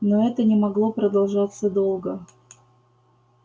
но это не могло продолжаться долго